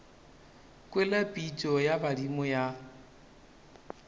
kwele pitšo ya badimo ya